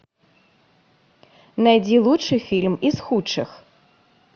найди лучший фильм из худших